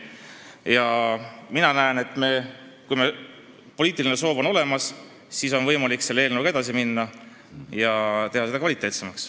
Ja mina näen, et kui meil poliitiline soov on olemas, siis on võimalik selle eelnõuga edasi minna ja teha see kvaliteetsemaks.